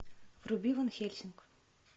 вруби ван хельсинг